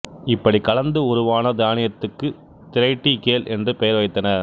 இப்படி கலந்து உருவான தானியத்துக்குத் திரைட்டிகேல் என்று பெயர் வைத்தனர்